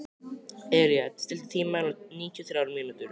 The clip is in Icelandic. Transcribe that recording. Elea, stilltu tímamælinn á níutíu og þrjár mínútur.